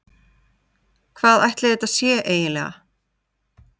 Hvað ætli þetta sé eiginlega?